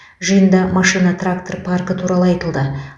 жиында машина трактор паркі туралы айтылды